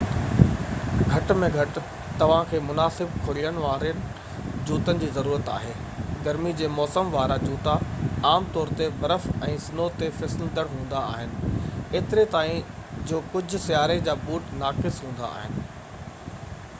گهٽ ۾ گهٽ توهان کي مناسب کُڙين وارن جوتن جي ضرورت آهي گرميءَ جي موسم وارا جوتا عام طور تي برف ۽ سنو تي فسلندڙ هوندا آهن ايتري تائين جو ڪجهه سياري جا بوٽ ناقص هوندا آهن